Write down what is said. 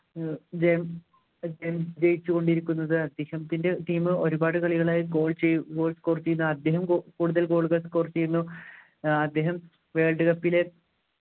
ഇദ്ദേഹം ജയിച്ചു കൊണ്ടിരിക്കുന്നത് അദ്ദേഹത്തിൻ്റെ team ഒരുപാട് കളികളായി goal ചെയ്യു goal അദ്ദേഹം കൂടുതൽ goal കൾ score ചെയ്യുന്നു ഏർ അദ്ദേഹം world cup ലെ